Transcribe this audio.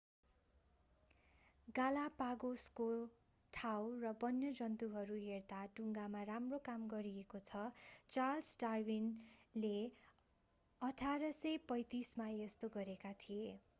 गालापागोसको ठाउँ र वन्यजन्तुहरू हेर्दा डुंगामा राम्रो काम गरिएको छ चार्ल्स डार्विनले 1835मा यस्तो गरेका थिए